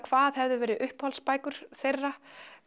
hvað hefði vera uppáhalds bækur þeirra